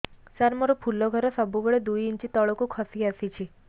ସାର ମୋର ଫୁଲ ଘର ସବୁ ବେଳେ ଦୁଇ ଇଞ୍ଚ ତଳକୁ ଖସି ଆସିଛି